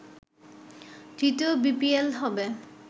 তৃতীয় বিপিএল হবে